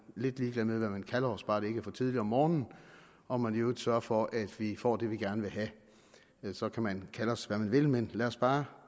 lidt ligeglade med hvad man kalder os bare det ikke er for tidligt om morgenen og man i øvrigt sørger for at vi får det vi gerne vil have så kan man kalde os hvad man vil men lad os bare